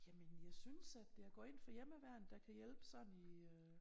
Jamen jeg synes at jeg går ind for hjemmeværnet der kan hjælpe sådan i øh